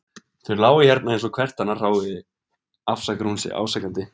Þau lágu hérna eins og hvert annað hráviði, afsakar hún sig ásakandi.